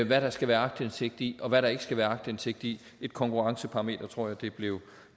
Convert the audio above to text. hvad der skal være aktindsigt i og hvad der ikke skal være aktindsigt i et konkurrenceparameter tror jeg det blev